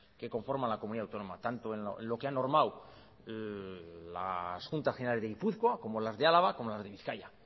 que conforman la comunidad autónoma tanto en lo que han normado las juntas generales de gipuzkoa como las de álava como las de bizkaia